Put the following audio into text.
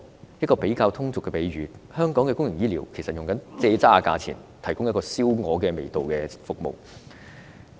用一個比較通俗的比喻，香港公營醫療其實是以"庶渣"價錢，提供燒鵝味道的服務。